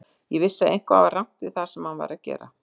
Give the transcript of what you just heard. Ég vissi að eitthvað var rangt við það sem hann var að gera.